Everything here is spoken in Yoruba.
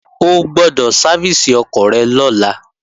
O gbọ́dọ̀ sáfìsì ọkọ̀ rẹ lọ́la!